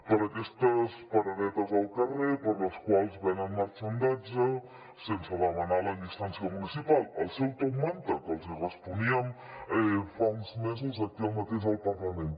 per aquestes paradetes al carrer per les quals venen marxandatge sense demanar la llicència municipal el seu top manta que els hi responíem fa uns mesos aquí mateix al parlament